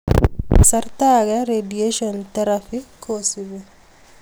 Kasarta ake radiation therapy kosupi